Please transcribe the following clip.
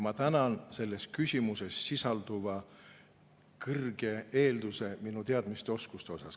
Ma tänan selles küsimuses sisalduva eelduse eest minu teadmiste ja oskuste kohta.